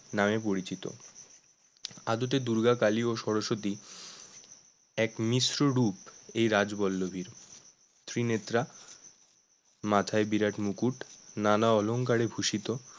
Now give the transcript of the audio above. নামে পরিচিত আদতে দুর্গা কালী ও সরস্বতী এক মিশ্র রূপ এই রাজবল্লভীর, ত্রিনেত্রা মাথায় বিরাট মুকুট নানা অলঙ্কারে ভূষিত